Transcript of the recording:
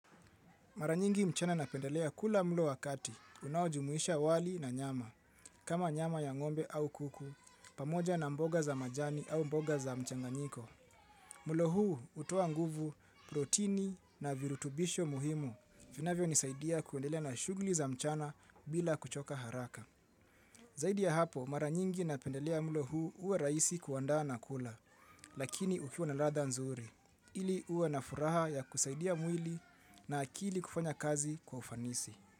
Mara nyingi mchana napendelea kula mlo wa kati, unaojumuisha wali na nyama, kama nyama ya ng'ombe au kuku, pamoja na mboga za majani au mboga za mchanganyiko. Mlo huu hutoa nguvu, protini na virutubisho muhimu, vinavyonisaidia kuendelea na shughuli za mchana bila kuchoka haraka. Zaidi ya hapo, mara nyingi napendelea mlo huu uwe rahisi kuandaa na kula, lakini ukiwa na ladha nzuri, ili uwe na furaha ya kusaidia mwili na akili kufanya kazi kwa ufanisi.